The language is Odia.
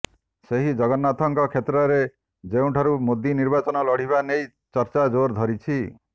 ସେହି ଜଗନ୍ନାଥ ଙ୍କ କ୍ଷେତ୍ର ରେ ଯେଉଁଠାରୁ ମୋଦି ନିର୍ବାଚନ ଲଢ଼ିବା ନେଇ ଚର୍ଚ୍ଚା ଜୋର ଧରିଛି